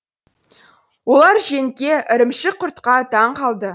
олар жентке ірімшік құртқа таң қалды